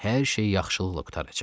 Hər şey yaxşılıqla qurtaracaq.